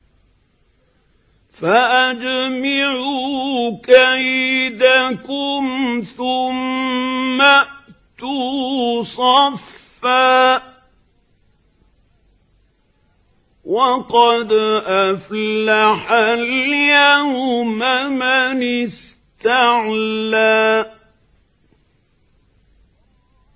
فَأَجْمِعُوا كَيْدَكُمْ ثُمَّ ائْتُوا صَفًّا ۚ وَقَدْ أَفْلَحَ الْيَوْمَ مَنِ اسْتَعْلَىٰ